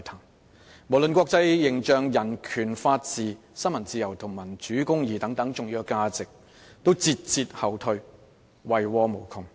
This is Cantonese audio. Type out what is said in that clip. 一些重要價值無論是國際形象、人權法治、新聞自由或民主公義均節節後退，遺禍無窮。